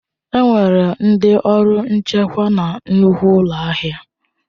Enwere ndị ọrụ nchekwa na nnukwu ụlọ ahịa.